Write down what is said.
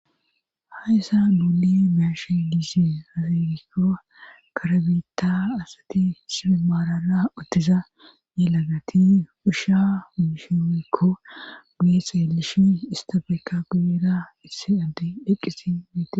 Ha issa guule meashe diise hafegikko karabeta asati sibemaarara uttiza ne lagati usha umishiwekko guye seelishi istafeekka guyeera isse addi dheqqisi mite.